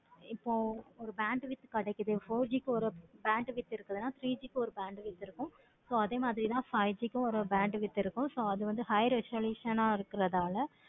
இப்போ ஒரு bandwidth கிடைக்குது four G க்கு ஒரு bandwidth இருக்குதுன்னு three G க்கு ஒரு bandwidth இருக்குது. so அதே மாதிரி தான் five G kkum oru bandwidth irukku. high resolution ஆஹ் இருக்கனால